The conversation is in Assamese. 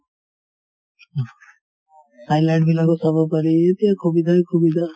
high-light বিলাকো চাব পাৰি । এই যে সুবিধা য়ে সুবিধা ।